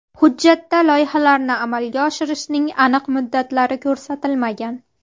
Hujjatda loyihalarni amalga oshirishning aniq muddatlari ko‘rsatilmagan.